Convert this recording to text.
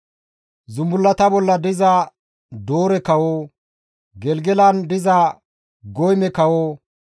Zumbullata bolla diza Doore kawo, Gelgelan diza Goyme kawo,